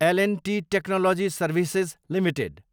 L and T technology services limited